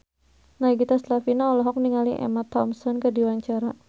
Nagita Slavina olohok ningali Emma Thompson keur diwawancara